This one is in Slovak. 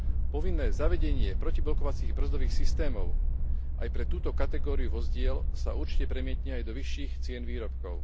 Povinné zavedenie protiblokovacích brzdových systémov aj pre túto kategóriu vozidiel sa určite premietne aj do vyšších cien výrobkov.